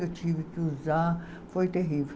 Eu tive que usar, foi terrível.